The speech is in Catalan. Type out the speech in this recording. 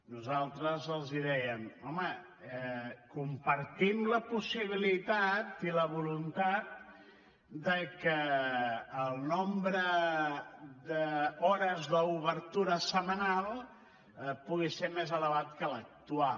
nosaltres els dèiem home compartim la possibilitat i la voluntat que el nombre d’hores d’obertura setmanal pugui ser més elevat que l’actual